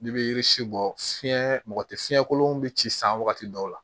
N'i bɛ yiri si bɔ fiɲɛ mɔgɔ tɛ fiɲɛ kolon bɛ ci san wagati dɔw la